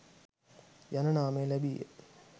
යන නාමය ලැබීය.